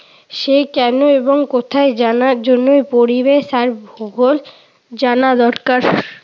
সেই কেন এবং কোথায় জানার জন্য পরিবেশ এবং ভূগোল জানা দরকার।